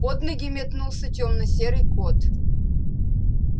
под ноги метнулся тёмно-серый кот